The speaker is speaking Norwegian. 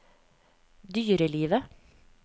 dyrelivet